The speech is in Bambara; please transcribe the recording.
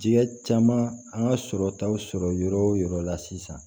Diɲɛ caman an ka sɔrɔtaw sɔrɔ yɔrɔ o yɔrɔ la sisan